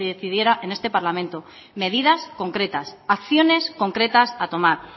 decidiera en este parlamento medidas concretas acciones concretas a tomar